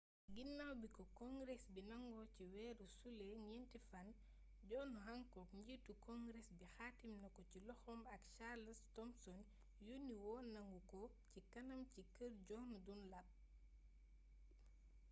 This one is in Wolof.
ginnaw biko congress bi nango ci wéru sulé gnenti fan john hancock njiitu congress bi xaatim nako ci loxom ak charles thomson yonni woonanguko ci kanam ci keer john dunlap